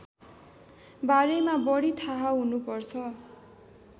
बारेमा बढी थाहा हुनुपर्छ